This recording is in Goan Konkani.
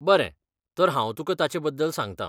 बरें, तर हांव तुकां ताचेबद्दल सांगता.